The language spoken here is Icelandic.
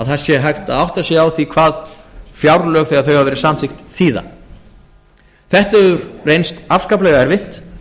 hægt sé að átta sig á því hvað fjárlög þegar þau hafa verið samþykkt þýða þetta hefur reynst afskaplega erfitt